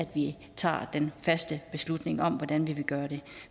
vi tager den faste beslutning om hvordan vi vil gøre det